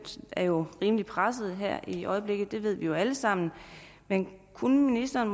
er jo rimelig presset i øjeblikket det ved vi alle sammen kunne ministeren